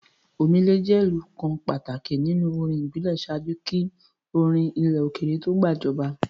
Omele jẹ́ ìlù kan pàtàkì nínú orin ìbílẹ̀ ṣáájú kí orin ilẹ̀ òkèèrè to gbàjọba.